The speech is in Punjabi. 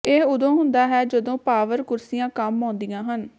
ਇਹ ਉਦੋਂ ਹੁੰਦਾ ਹੈ ਜਦੋਂ ਪਾਵਰ ਕੁਰਸੀਆਂ ਕੰਮ ਆਉਂਦੀਆਂ ਹਨ